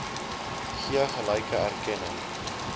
gee gelyke erkenning